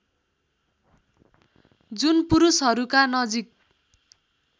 जुन पुरुषहरूका नजिक